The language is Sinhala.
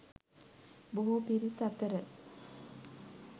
බොහෝ පිරිස් අතර